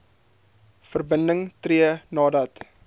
verbinding tree nadat